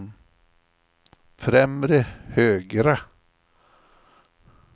främre högra